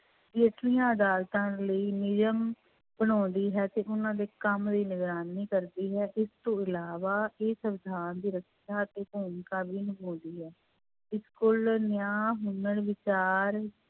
ਹੇਠਲੀਆਂ ਅਦਾਲਤਾਂ ਲਈ ਨਿਯਮ ਬਣਾਉਂਦੀ ਹੈ ਤੇ ਉਹਨਾਂ ਦੇ ਕੰਮ ਦੀ ਨਿਗਰਾਨੀ ਕਰਦੀ ਹੈ, ਇਸ ਤੋਂ ਇਲਾਵਾ ਇਹ ਸਵਿਧਾਨ ਦੀ ਰੱਖਿਆ ਦੀ ਭੂਮਿਕਾ ਵੀ ਨਿਭਾਉਂਦੀ ਹੈ, ਇਸ ਕੋਲ ਨਿਆਂ ਵਿਚਾਰ